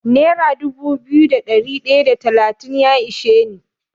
Nera dubu biyu da ɗari ɗaya da talatin ya ishe ni.